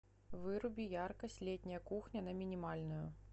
выруби яркость летняя кухня на минимальную